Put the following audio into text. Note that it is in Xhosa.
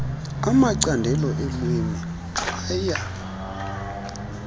amacandelo eelwimi aya